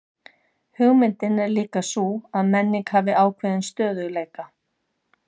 Hugmyndin er líka sú að menning hafi ákveðinn stöðugleika.